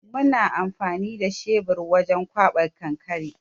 Muna amfani da shebir wajen ƙwaɓa kankare.